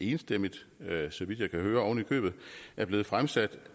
enstemmigt så vidt jeg kan høre er blevet fremsat